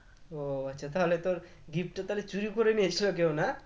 ও আচ্ছা তাহলে তোর gift টা তালে চুরি করে নিয়েছিল কেউ না